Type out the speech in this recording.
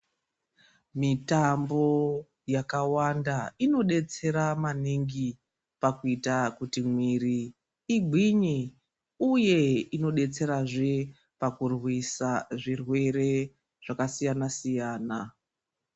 Mitambo yakawanda inodetsera maningi pakuita kuti mwiri igwinye uye inodetserazve pakurwisa zvirwere zvakasiyana siyana.